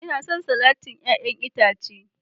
Ina son salatin 'ya'yan itace